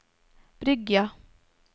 Bryggja